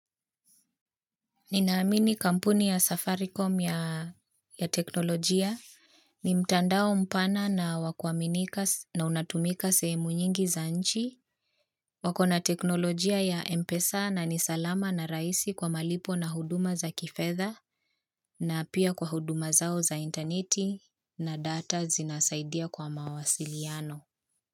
Ninaamini kampuni ya Safaricom ya teknolojia ni mtandao mpana na wa kuaminika na unatumika sehemu nyingi za nchi, wako na teknolojia ya MPESA na ni salama na rahisi kwa malipo na huduma za kifedha na pia kwa huduma zao za interneti na data zinasaidia kwa mawasiliano.